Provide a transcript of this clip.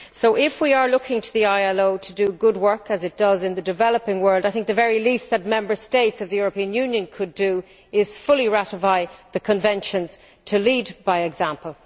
So if we are looking to the ILO to do good work, as it does, in the developing world, I think the very least that Member States of the European Union could do is to fully ratify the conventions, to lead by example.